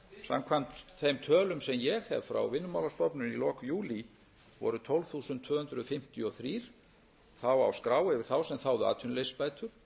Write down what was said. samkvæmt þeim tölum sem ég hef frá vinnumálastofnun í lok júlí voru tólf þúsund tvö hundruð fimmtíu og þrjú þá á skrá yfir þá sem þáðu atvinnuleysisbætur